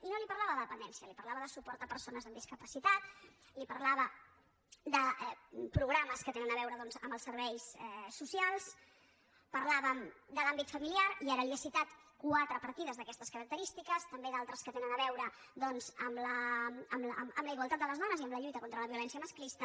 i no li parlava de la dependència li parlava de suport a persones amb discapacitat li parlava de programes que tenen a veure doncs amb els serveis socials parlàvem de l’àmbit familiar i ara li he citat quatre partides d’aquestes característiques també d’altres que tenen a veure doncs amb la igualtat de les dones i amb la lluita contra la violència masclista